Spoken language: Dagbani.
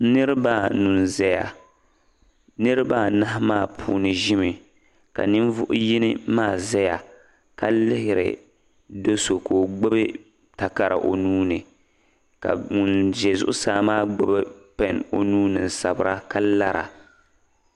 niriba anu n-zaya niriba anahi maa puuni ʒimi ka ninvuɣ' yini maa zaya ka lihiri do' so ka o gbubi takara o nuu ni ka ŋun za zuɣusaa gbubi pɛn o nuu ni n-sabira ka lara